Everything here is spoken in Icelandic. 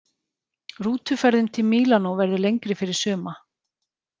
Rútuferðin til Mílanó verður lengri fyrir suma.